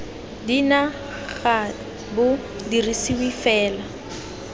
dna ga bo dirisiwe fela